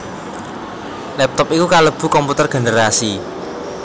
Laptop iku kalebu komputer generasi